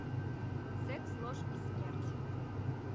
секс ложь и смерть